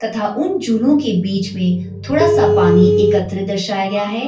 तथा उन जूनो के बीच में थोड़ा सा पानी एकत्रित दर्शाया गया है।